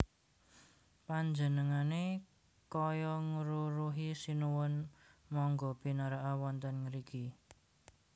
Panjenengané kaya ngruruhi Sinuwun mangga pinaraka wonten ngriki